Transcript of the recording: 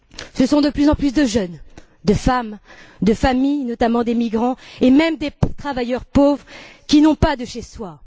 Ce sont de plus en plus de jeunes, de femmes, de familles notamment des migrants et même des travailleurs pauvres, qui n'ont pas de chez eux.